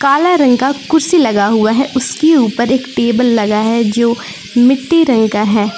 काला रंग का कुर्सी लगा हुआ है उसके ऊपर एक टेबल लगा है जो मिट्टी रंग का है।